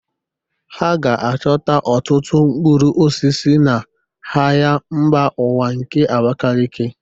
Ha ga-achọta ọtụtụ mkpụrụ osisi n'ahịa mba ụwa nke Abakiliki